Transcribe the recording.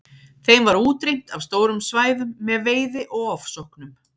Þeim var útrýmt af stórum svæðum með veiði og ofsóknum.